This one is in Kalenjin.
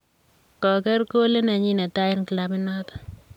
Koker kolit nenyi ne tai eng klabut notok .